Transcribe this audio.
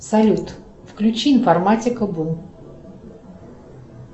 салют включи информатика бум